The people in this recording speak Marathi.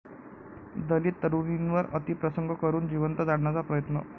दलित तरुणीवर अतिप्रसंग करून जिवंत जाळण्याचा प्रयत्न